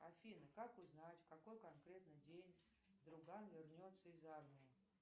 афина как узнать в какой конкретно день друган вернется из армии